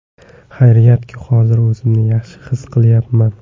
Xayriyatki, hozir o‘zimni yaxshi his qilyapman.